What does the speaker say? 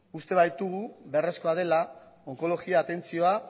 uste baitugu beharrezkoa dela onkologia atentzioa